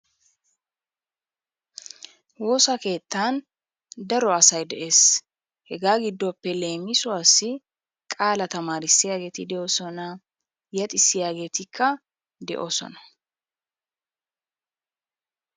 Wosaa kettani daro asay de'esi hega gidoppe lemisuwassi, qala tamarisiyagetti de'osona, yexisiyagettika de'osona.